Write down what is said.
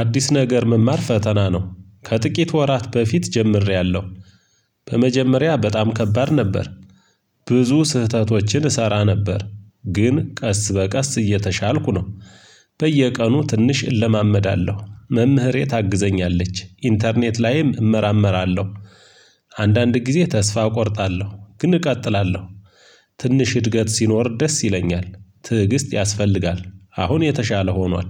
አዲስ ነገር መማር ፈተና ነው፤ ከጥቂት ወራት በፊት ጀምሬያለሁ። በመጀመሪያ በጣም ከባድ ነበር። ብዙ ስህተቶችን እሰራ ነበር ግን ቀስ በቀስ እየተሻልኩ ነው። በየቀኑ ትንሽ እለማመዳለሁ መምህሬ ታግዘኛለች ኢንተርኔት ላይም እመራመራለሁ። አንዳንድ ጊዜ ተስፋ እቆርጣለሁ ግን እቀጥላለሁ። ትንሽ እድገት ሲኖር ደስ ይለኛል ትዕግስት ያስፈልጋል አሁን የተሻለ ሆኗል።